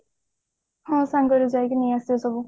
ହଁ ସାଙ୍ଗରେ ଯାଇକି ନେଇ ଆସିବା ସବୁ